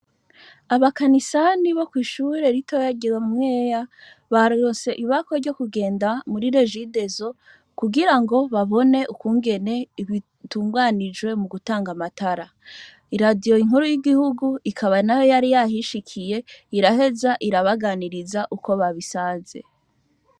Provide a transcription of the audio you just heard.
Abakanisani bishure ritoya rya mwera baronse ibakwe ryo kugenda muri regideso kugirango babone ukungene dutunganijwe mugutanga amatara iradiyo rikuru ryigihugu rikaba naho ryari ryahishikiye iraheza arabaganiriza uko barisanze